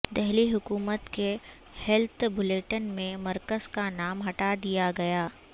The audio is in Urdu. دہلی حکومت کے ہیلت بلیٹن میں مرکز کا نام ہٹادیا گیا